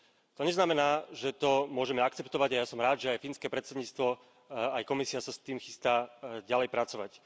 To neznamená, že to môžeme akceptovať a ja som rád, že aj fínske predsedníctvo, aj Komisia sa s tým chystá ďalej pracovať.